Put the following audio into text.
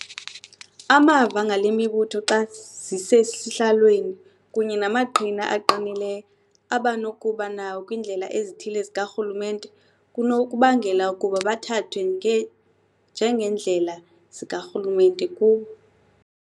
Amava ngalemibutho xa zisesihlalweni, kunye namaqhina aqinileyo abanokuba nawo kwiindlela ezithile zikarhulumente, kunokubangela ukuba bathathwe njengeendlela zikarhulumente kubo.